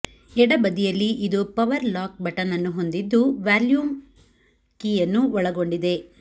ಎಡ ಬದಿಯಲ್ಲಿ ಇದು ಪವರ್ ಲಾಕ್ ಬಟನ್ ಅನ್ನು ಹೊಂದಿದ್ದು ವ್ಯಾಲ್ಯೂಮ್ ಕೀಯನ್ನು ಒಳಗೊಂಡಿದೆ